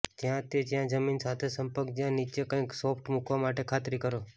જ્યાં તે જ્યાં જમીન સાથે સંપર્ક જ્યાં નીચે કંઈક સોફ્ટ મૂકવા માટે ખાતરી કરો